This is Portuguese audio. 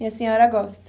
E a senhora gosta?